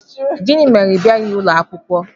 Gịnị mere ị bịaghị ụlọ akwụkwọ?